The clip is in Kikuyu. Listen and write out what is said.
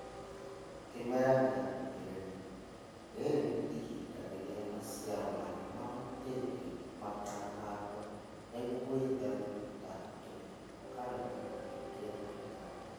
Kĩmera gĩakuhĩrĩria. Rĩrĩ nĩihinda rĩrĩa maciaro marĩa mahutĩtio matanahandwo nĩguo gwĩthema tũtambi tuna kana gĩkundi gĩa tũtambi